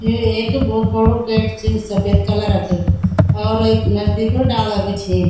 यु एक भोत बड़ु गेट च सपेद कलर क और वेक नजदीक डाला भी छि।